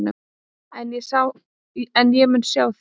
En ég mun sjá þig.